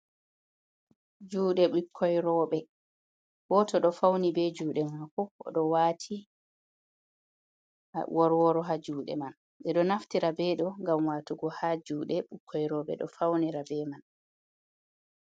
Juɗe ɓikkoi rooɓe, goto ɗo fauni be juɗe mako o ɗo wati aworworo ha juɗe man, ɓe ɗo naftira ɓe ɗo ngam watugo ha juɗe ɓukkoi rooɓe ɗo faunira be man.